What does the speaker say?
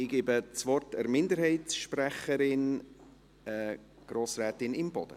Ich gebe das Wort der Minderheitssprecherin, Grossrätin Imboden.